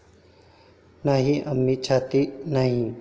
नाही, आम्ही छाती नाही.